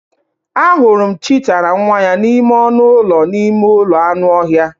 Ahụrụ m cheetah na nwa ya n'ime ọnụ ụlọ n'ime ụlọ anụ ọhịa.